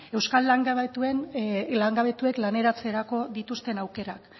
euskal langabetuek laneratzerako dituzten aukerak